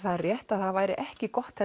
rétt að það væri ekki gott